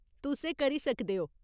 तुस एह् करी सकदे ओ।